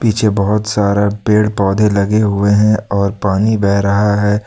पीछे बहुत सारा पेड़ पौधे लगे हुए हैं और पानी बह रहा है।